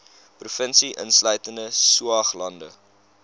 provinsie insluitende saoglande